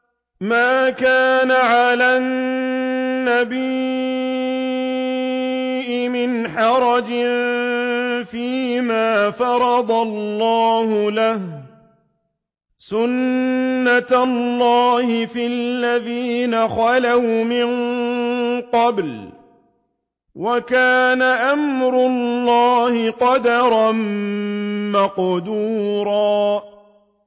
مَّا كَانَ عَلَى النَّبِيِّ مِنْ حَرَجٍ فِيمَا فَرَضَ اللَّهُ لَهُ ۖ سُنَّةَ اللَّهِ فِي الَّذِينَ خَلَوْا مِن قَبْلُ ۚ وَكَانَ أَمْرُ اللَّهِ قَدَرًا مَّقْدُورًا